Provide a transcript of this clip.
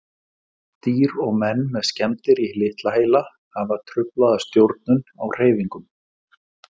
Dýr og menn með skemmdir í litla heila hafa truflaða stjórnun á hreyfingum.